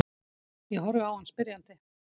Ég horfi á hann spyrjandi.